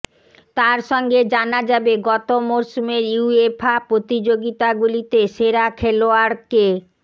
তার সঙ্গে জানা যাবে গত মরশুমের ইউয়েফা প্রতিযোগিতাগুলিতে সেরা খেলোয়াড় কে